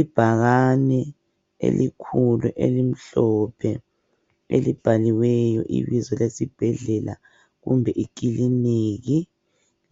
Ibhakane elikhulu elimhlophe elibhaliweyo ibizo lesibhedlela kumbe ikiliniki